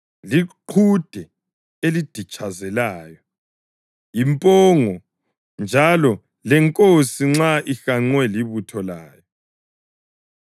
liqhude eliditshazelayo, yimpongo, njalo lenkosi nxa ihanqwe libutho layo.